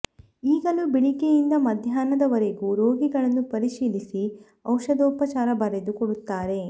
ಈಗಲೂ ಬೆಳಿಗ್ಗೆ ಯಿಂದ ಮಧ್ಯಾನ್ಹ ದವರೆಗೂ ರೋಗಿಗಳನ್ನು ಪರಿಶೀಲಿಸಿ ಔಷಧೋಪಚಾರ ಬರೆದು ಕೊಡುತ್ತಾರೆ